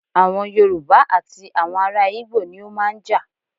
Awọn Yorùbá àti àwọn ará ìgbò ni ó máa ń jà.